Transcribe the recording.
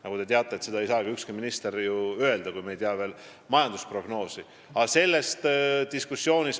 Nagu te teate, seda ei saagi ükski minister öelda, kui me ei tea veel majandusprognoosi.